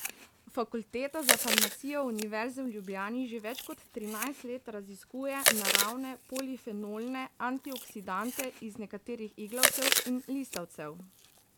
Fakulteta za farmacijo Univerze v Ljubljani že več kot trinajst let raziskuje naravne polifenolne antioksidante iz nekaterih iglavcev in listavcev.